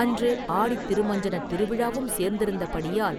அன்று ஆடித் திருமஞ்சனத் திருவிழாவும் சேர்ந்திருந்தபடியால்